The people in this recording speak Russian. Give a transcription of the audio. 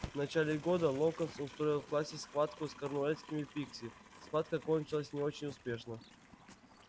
в начале года локонс устроил в классе схватку с корнуэльскими пикси схватка кончилась не очень успешно